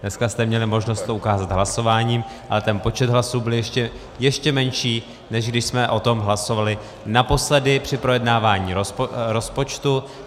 Dneska jste měli možnost to ukázat hlasováním, ale ten počet hlasů byl ještě menší, než když jsme o tom hlasovali naposledy při projednávání rozpočtu.